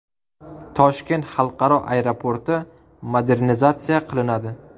Toshkent xalqaro aeroporti modernizatsiya qilinadi.